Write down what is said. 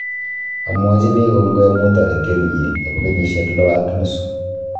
Amwachini kongoi amu taretet nyi nebo kenyisyek lo ak nusu